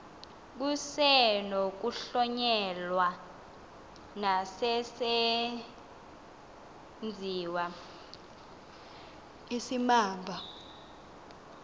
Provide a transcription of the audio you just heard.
kusenokuhlonyelwa nesesenziwa isimamva